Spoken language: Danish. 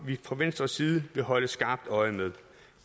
vi fra venstres side vil holde skarpt øje med